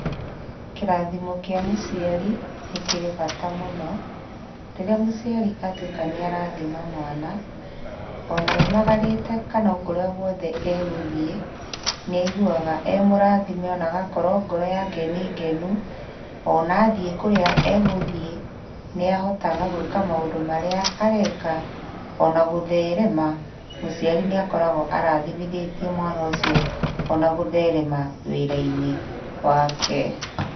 Kĩrathimo kĩa mũciari, nĩkĩrĩ bata mũno. Rĩrĩa mũciari atuĩka nĩarathaima mwana, ona aumagarĩte kana okũrĩa guothe egũthiĩ, nĩaiguaga emũrathime ona agakorwo ngoro yake nĩ ngenu, ona athiĩ kũrĩa egũthiĩ nĩahotaga gũĩka maũndũ marĩa areka, ona gũtherema, mũciari nĩakoragwo arathimithĩtie mwana ũcio ona gũtherema wĩra-inĩ wake.